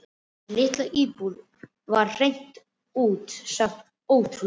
Þessi litla íbúð var hreint út sagt ótrúleg.